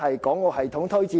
港澳系統推薦？